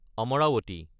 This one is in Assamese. অমৰাৱতী